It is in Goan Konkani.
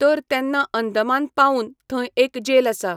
तर तेन्ना अंदमान पावून थंय एक जेल आसा.